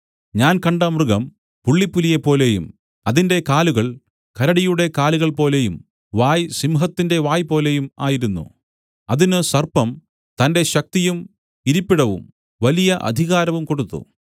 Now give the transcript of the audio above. ഞാൻ കണ്ട മൃഗം പുള്ളിപ്പുലിയെപ്പോലെയും അതിന്റെ കാലുകൾ കരടിയുടെ കാലുകൾ പോലെയും വായ് സിംഹത്തിന്റെ വായ്പോലെയും ആയിരുന്നു അതിന് സർപ്പം തന്റെ ശക്തിയും ഇരിപ്പിടവും വലിയ അധികാരവും കൊടുത്തു